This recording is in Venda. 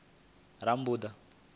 rammbuḓa